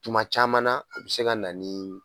Tuma caman na u bɛ se ka na ni